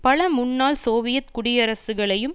பல முன்னாள் சோவியத் குடியரசுகளையும்